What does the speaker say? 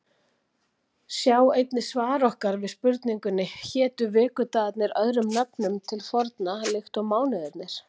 Sjá einnig svar okkar við spurningunni Hétu vikudagarnir öðrum nöfnum til forna líkt og mánuðirnir?